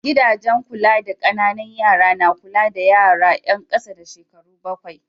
Gidajen kula da ƙananan yara na kula da yara yan ƙasa da shekaru bakwai.